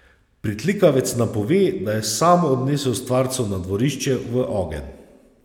Pritlikavec nam pove, da je sam odnesel stvarco na dvorišče v ogenj.